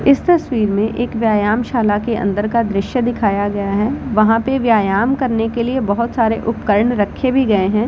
इस तस्वीर में एक व्यायाम शाला के अंदर का दृश्य दिखाया गया है वहां पे व्यायाम करने के लिए बहोत सारे उपकरण रखे भी गए हैं।